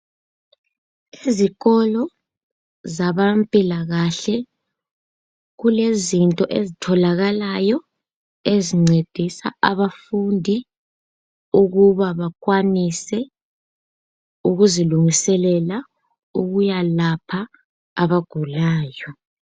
Ezikolo zabempilakahle kulezinto ezitholakalayo ezincedisa abafundi ukuba bakwanise ukuzilungiselela ukuyalapha abagulayo.